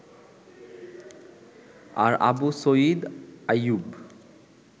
আর Abu Sayeed Ayub